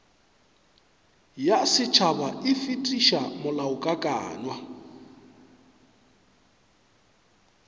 ya setšhaba e fetiša molaokakanywa